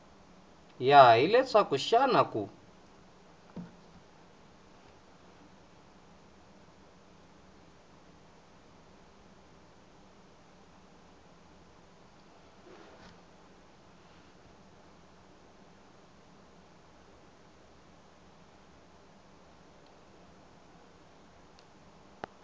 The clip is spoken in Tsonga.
ya hi leswaku xana ku